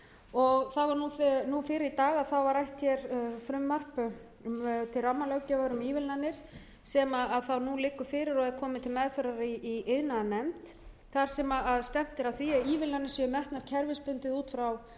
og fyrr í dag var rætt frumvarp til rammalöggjafar um ívilnanir sem nú liggur fyrir og er komið til meðferðar í iðnaðarnefnd þar sem stefnt er að því að ívilnanir séu metnar kerfisbundið út frá